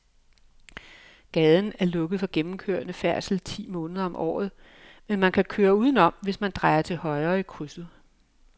Gaden er lukket for gennemgående færdsel ti måneder om året, men man kan køre udenom, hvis man drejer til højre i krydset.